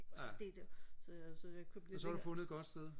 ja og så har du fundet et godt sted